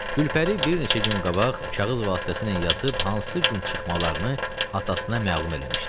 Gülpəri bir neçə gün qabaq kağız vasitəsilə yazıb hansı gün çıxmalarını atasına məlum eləmişdi.